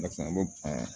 Barisa an b'o ban